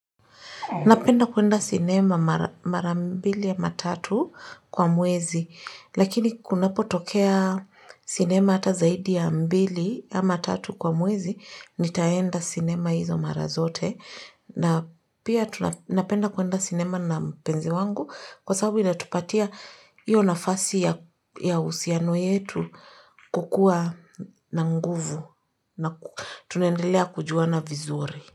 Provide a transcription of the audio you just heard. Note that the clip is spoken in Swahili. Napenda kuenda sinema mara mbili ama tatu kwa mwezi, lakini kunapotokea sinema hata zaidi ya mbili ama tatu kwa mwezi, nitaenda sinema hizo mara zote. Na pia tu napenda kuenda sinema na mpenzi wangu kwa sababu inatupatia iyo nafasi ya uhusiano yetu kukuwa na nguvu na tunaendelea kujuana vizuri.